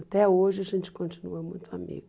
Até hoje a gente continua muito amigo.